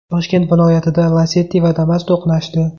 Toshkent viloyatida Lacetti va Damas to‘qnashdi.